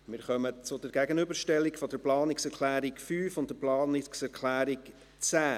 Wir kommen zur Gegenüberstellung der Planungserklärungen 5 und 10.